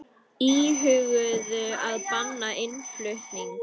Íhuguðu að banna innflutning